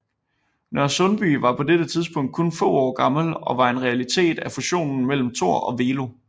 Nørresundby var på dette tidspunkt kun få år gammel og var en realitet af fusionen mellem Thor og Velo